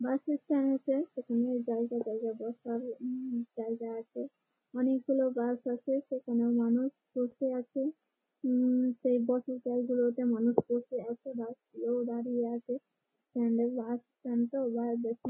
Bus stand আছে এখানে জায়গায় জায়গায় বসার উম জায়গা আছে । অনেকগুলো বাস আছে সেখানে মানুষ বসে আছে। উম সেই বসার জায়গাগুলোতে মানুষ বসে আছে। বাস গুলো দাঁড়িয়ে আছে । স্ট্যান্ড এ বাসস্ট্যান্ড -টা এবারে দেখে ।